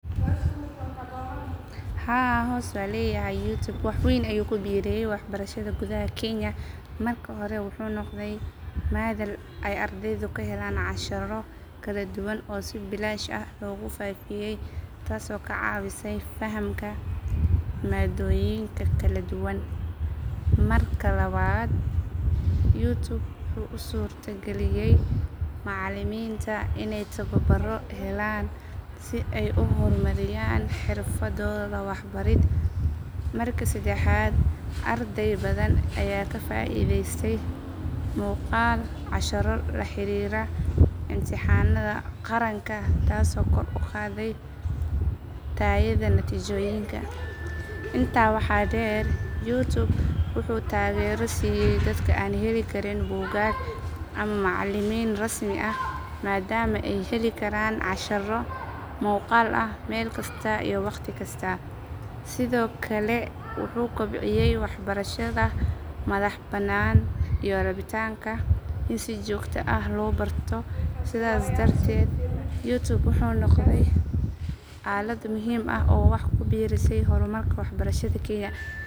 Haa hoos maleyahay YouTube wax weyn ayuu ku biiriyay waxbarashada gudaha Kenya. Marka hore, wuxuu noqday madal ay ardaydu ka helaan casharro kala duwan oo si bilaash ah loogu faafiyay taasoo ka caawisay fahamka maadooyinka kala duwan. Marka labaad, YouTube wuxuu u suurta geliyay macallimiinta inay tababaro helaan si ay u horumariyaan xirfadooda waxbarid. Marka saddexaad, arday badan ayaa ka faa’iidaystay muuqaal casharro la xiriira imtixaanada qaranka taasoo kor u qaaday tayada natiijooyinka. Intaa waxaa dheer, YouTube wuxuu taageero siiyay dadka aan heli karin buugaag ama macallimiin rasmi ah maadaama ay heli karaan casharro muuqaal ah meel kasta iyo wakhti kasta. Sidoo kale, wuxuu kobciyay waxbarashada madax bannaan iyo rabitaanka in si joogto ah loo barto. Sidaas darteed, YouTube wuxuu noqday aalad muhiim ah oo wax ku biirisay horumarka waxbarashada Kenya.